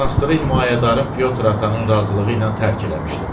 Monastırı himayədarım Pyotr Atanın razılığı ilə tərk eləmişdim.